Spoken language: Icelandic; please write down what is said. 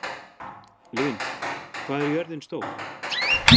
Lynd, hvað er jörðin stór?